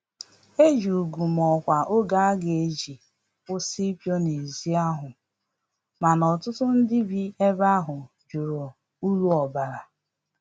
Eji úgwù ma ọkwa oge aga eji kwụsị ipu na ezi ahụ, mana ọtụtụ ndị bi ebe ahụ jụrụ uru ọbara